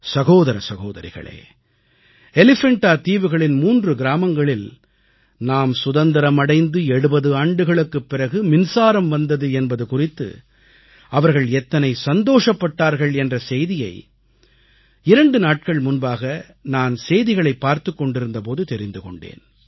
சகோதர சகோதரிகளே எலிஃபண்டா தீவுகளின் 3 கிராமங்களில் நாம் சுதந்திரம் அடைந்து 70 ஆண்டுகளுக்குப் பிறகு மின்சாரம் வந்தது என்பது குறித்து அவர்கள் எத்தனை சந்தோஷப்பட்டார்கள் என்ற செய்தியை 2 நாட்கள் முன்பாக நான் செய்திகளைப் பார்த்துக் கொண்டிருந்த போது தெரிந்து கொண்டேன்